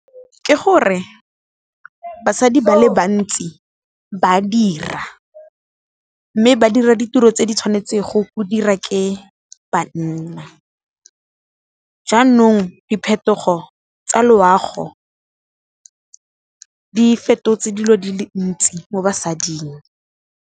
Ke gore basadi ba le bantsi ba dira, mme ba dira ditiro tse di tshwanetsego go dira ke banna, jaanong diphetogo tsa loago di fetotse dilo di le ntsi mo basading.